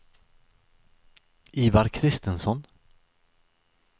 Ivar Christensson